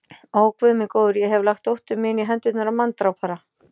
Ó, Guð minn góður, ég hef lagt dóttur mína í hendurnar á manndrápara.